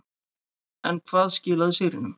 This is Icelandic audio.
En hvað skilaði sigrinum.